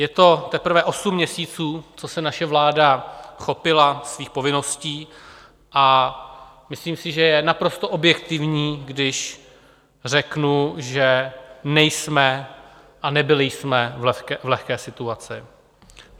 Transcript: Je to teprve osm měsíců, co se naše vláda chopila svých povinností, a myslím si, že je naprosto objektivní, když řeknu, že nejsme a nebyli jsme v lehké situaci.